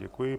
Děkuji.